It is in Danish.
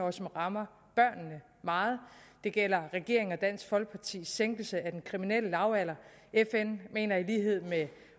og som rammer børnene meget det gælder regeringens og dansk folkepartis sænkelse af den kriminelle lavalder fn mener i lighed med